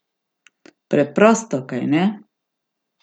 Preprosto, kajne?